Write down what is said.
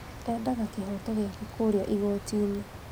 Endaga kĩhoto gĩake kũrĩa igoti-inĩ